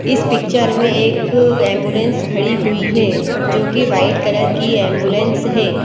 इस पिक्चर में एक एंबुलेंस खड़ी हुई है जो कि वाइट कलर की एंबुलेंस है।